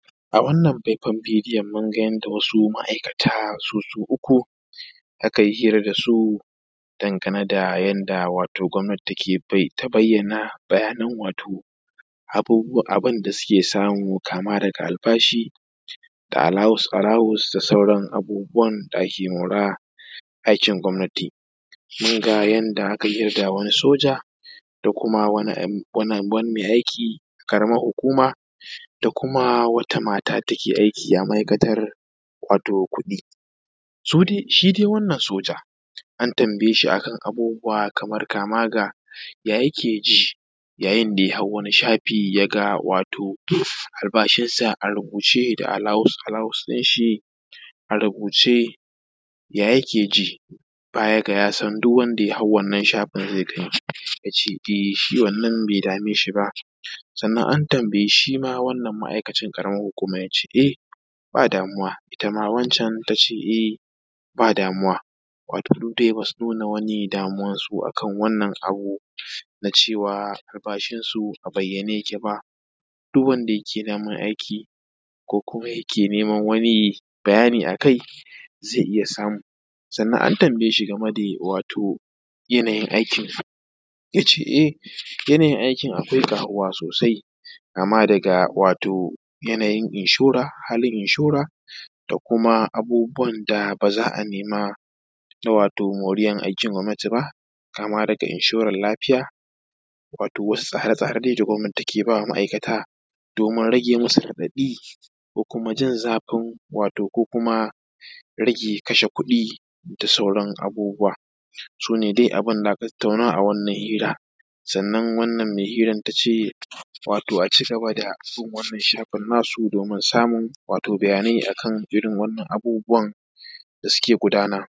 A wannan faifan bidoyon munga yanda wasu ma’aikata su su uku akai hira dasu dangane da yanda wato gomnati take ta bayyana, bayanin wato abubuwa, abunda suke samu kama daga albashi da alawus-alawus da sauran abubuwan da ake mora aikin gomnati. Munga yanda akai hira da wani soja, da kuma wani kai aiki ƙaramar hukuma, da kuma wata mata da take aiki a ma’aikatan kudi. Su dai, shi dai wannan soja, an tambaye shi akan abubuwa kamar kama ga ya yike ji, yayin da ya hau wani shafi yaga wato albashinsa a rubuce da alawus-alawus din shi a rubuce ya yike ji? Baya ga yasan duk wanda ya hau wannan shafin zai gani? Ya ce dai shi wannan be dame shi ba. Sannan an tambayi shima wannan ma’akacin ƙaramin hukuman, ya ce eh ba damuwa. Itama wan can tace eh ba damuwa. Wato duk dai basu nuna wani damuwansu akan wannan abu, na cewa albashinsu abayyane yake ba, duk wanda yake daman aiki ko kuma yake neman wani bayani akai zai iya samu. Sannan an tambaye shi game da wato yanayin aiki? Yace eh yana yin aiki akwai ƙaruwa sosai, kama daga wato yanayin inshora, halin inshora, da kuma abubuwan da baza a nema, wato moriyan aikin gomnati ba, kama daga inshoran lafiya, wato wasu tsara-tsara dai gomnati take ba ma’aikata, domin rage musu radaɗi, ko kuma jin zafin rage kashe kuɗi da sauran abubuwa Su ne dai abun da aka tattauna a wannan hira. Sannan wannan mai hiran tace wato aci gaba da bin wannan shafin nasu domin samun bayanai akan irin wannan abubuwan da suke gudana.